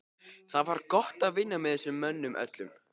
Það var gott að vinna með þessum mönnum öllum.